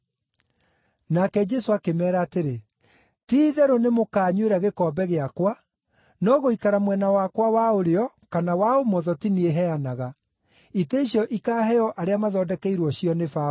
Nake Jesũ akĩmeera atĩrĩ, “Ti-itherũ nĩ mũkaanyuĩra gĩkombe gĩakwa, no gũikara mwena wakwa wa ũrĩo kana wa ũmotho ti niĩ heanaga. Itĩ icio ikaaheo arĩa mathondekeirwo cio nĩ Baba.”